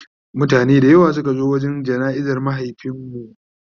mutane da yawa Suka zo wurin jana'izar mahaifinmu